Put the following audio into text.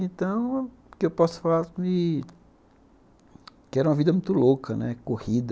Então o que eu posso falar é que era uma vida muito louca, corrida.